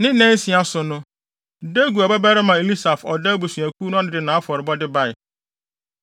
Ne nnansia so no, Deguel babarima Eliasaf a ɔda Gad abusuakuw ano no de nʼafɔrebɔde bae.